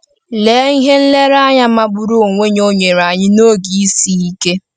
Lee ihe nlereanya magburu onwe ya o nyere anyị n’oge isi ike!